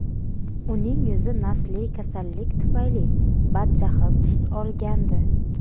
Uning yuzi nasliy kasallik tufayli badjahl tus olgandi.